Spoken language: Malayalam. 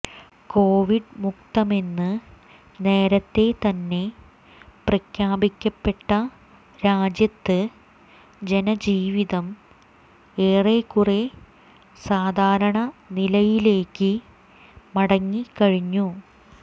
കോവിഡ് മുക്തമെന്ന് നേരത്തെ തന്നെ പ്രഖ്യാപിക്കപ്പെട്ട രാജ്യത്ത് ജനജീവിതം ഏറെക്കുറേ സാധാരണ നിലയിലേക്ക് മടങ്ങിക്കഴിഞ്ഞു